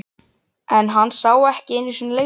En hann sá ekki einu sinni leikvöllinn.